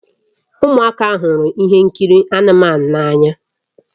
Ụmụaka hụrụ ihe nkiri anụmanụ n'anya